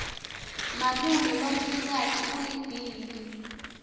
malume lomsikati ulibhimbi